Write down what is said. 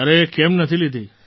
અરે કેમ નથી લીધી